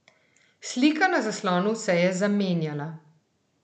Slika na zaslonu se je zamenjala.